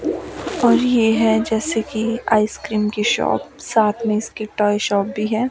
और ये है जैसे की आइस क्रीम की शॉप साथ में इसकी टॉय शॉप भी है।